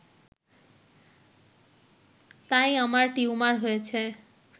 তাই আমার টিউমার হয়েছে